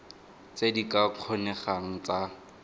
tse di ka kgonegang tsa